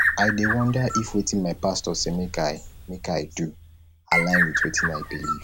i dey wonder if wetin my pastor say make i make i do align wit wetin i believe